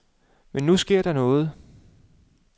Men nu sker der noget.